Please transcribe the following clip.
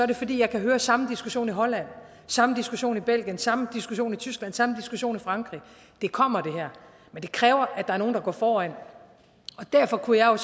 det fordi jeg kan høre samme diskussion i holland samme diskussion i belgien samme diskussion i tyskland samme diskussion i frankrig det kommer men det kræver at der er nogen der går foran og derfor kunne jeg